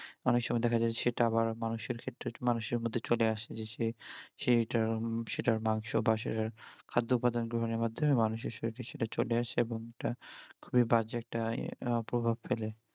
অনেক সময় দেখা যায় সেটা আবার মানুষের ক্ষেত্রে মানুষের মধ্যে চলে আসে যদি সে সেইটার সেটার মাংস বা সেটার খাদ্য উপাদান গ্রহণ এর মাধ্যমে মানুষের শরীরে সেটা চলে আসে এবং সেটা খুবই বাজে একটা প্রভাব ফেলে